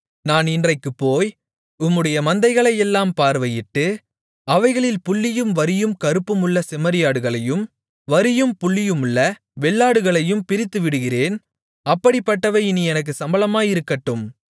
நான் இன்றைக்குப்போய் உம்முடைய மந்தைகளையெல்லாம் பார்வையிட்டு அவைகளில் புள்ளியும் வரியும் கறுப்புமுள்ள செம்மறியாடுகளையும் வரியும் புள்ளியுமுள்ள வெள்ளாடுகளையும் பிரித்துவிடுகிறேன் அப்படிப்பட்டவை இனி எனக்குச் சம்பளமாயிருக்கட்டும்